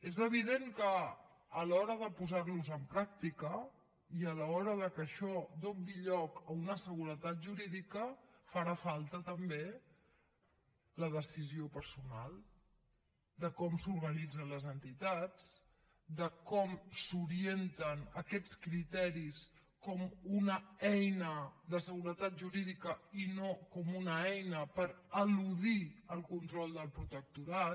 és evident que a l’hora de posar los en pràctica i a l’hora que això doni lloc a una seguretat jurídica farà falta també la decisió personal de com s’organitzen les entitats de com s’orienten aquests criteris com una eina de seguretat jurídica i no com una eina per eludir el control del protectorat